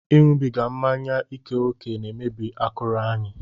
Ịṅụbiga mmanya ike ókè na-emebi akụrụ anyị